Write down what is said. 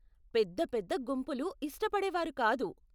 పెద్ద పెద్ద గుంపులు ఇష్టపడేవారు కాదు.